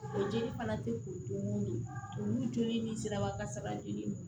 O jeli fana te ko mun de olu jeli ni siraba kasara joli